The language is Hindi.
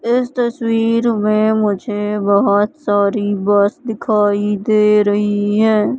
इस तस्वीर में मुझे बहुत सारी बस दिखाई दे रही हैं।